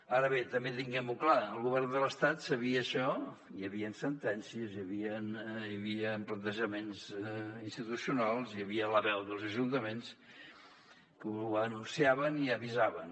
ara bé també tinguem ho clar el govern de l’estat sabia això hi havien sentències i hi havia plantejaments institucionals hi havia la veu dels ajuntaments que ho anunciaven i avisaven